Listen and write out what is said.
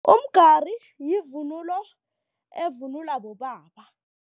Umgari yivunulo evunulwa bobaba.